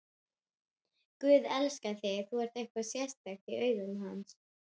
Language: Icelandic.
Guð elskar þig, þú ert eitthvað sérstakt í hans augum.